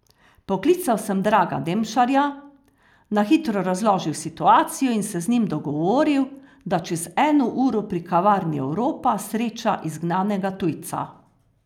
Poklical sem Draga Demšarja, na hitro razložil situacijo in se z njim dogovoril, da čez eno uro pri kavarni Evropa sreča izgnanega tujca.